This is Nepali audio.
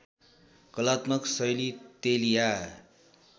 कलात्मक शैली तेलिया